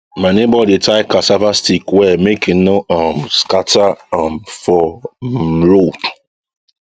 my neighbour dey tie cassava stick well make e no um scatter um for um road